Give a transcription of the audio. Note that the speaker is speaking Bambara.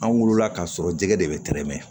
An wulila ka sɔrɔ jɛgɛ de bɛ tɛrɛmɛ